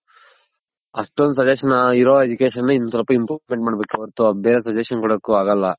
ಅಷ್ಟೊಂದ್ suggestion ಇರೋ Education ಅಲ್ಲಿ ಇನ್ನ ಸ್ವಲ್ಪ Improvement ಮಾಡಬೇಕೆ ಹೊರತು ಬೇರೆ suggestion ಕೊಡೋಕು ಆಗಲ್ಲ.